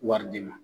Wari di ma